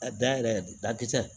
A da yɛrɛ de dakisɛ